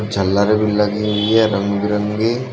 झालर भी लगी हुई है रंग बिरंगी।